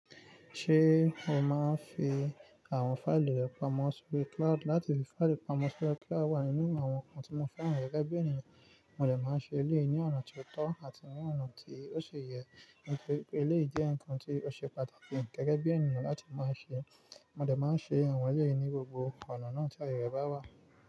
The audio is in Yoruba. Ṣé o máa ń fi àwọn fáìlì rẹ pamọ́ sórí cloud? Láti fi fáìlì pamọ́ sórí cloud wà nínú àwọn nǹkan tí mo fẹ́ràn gẹ́gẹ́ bí ènìyàn. Mo dẹ máa ń ṣe eléyìí ní ọ̀nà tó tọ́ àti ní ọ̀nà tí ó ṣi yẹ ní pé eléyìí jẹ́ nǹkan tí ó ṣe pàtàkì gẹ́gẹ́ bí ènìyàn láti máa ṣe. Mo dẹ máa ń ṣe àwọn eléyìí ní gbogbo ọ̀nà náà tí aye rẹ̀ bá wà.